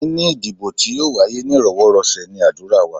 Níní ìdìbò tí yóò wáyé ní íròwọ́rọ̀sẹ̀ ní ádùrá wa.